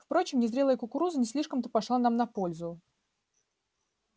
впрочем незрелая кукуруза не слишком-то пошла нам на пользу